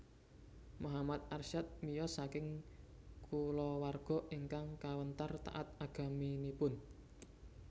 Muhammad Arsyad miyos saking kulawarga ingkang kawentar taat agaminipun